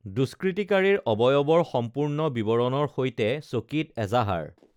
দুষ্কৃতিকাৰীৰ অৱয়ৱৰ সম্পূৰ্ণ বিৱৰণৰ সৈতে চকীত এজাহাৰ